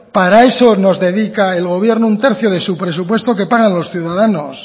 para eso nos dedica el gobierno un tercio de su presupuesto que pagan los ciudadanos